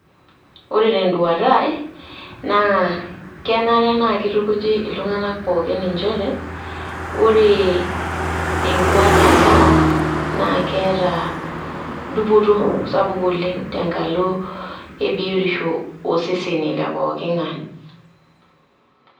Ore tenduata ai, na kenare na keitukuji iltung'anak pookin injere, Ore enkwatata naa keeta dupoto sapuk oleng' tenkalo ebiotisho oseseni le pooking'ae.